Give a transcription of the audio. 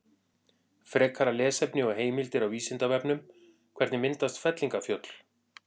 Frekara lesefni og heimildir á Vísindavefnum: Hvernig myndast fellingafjöll?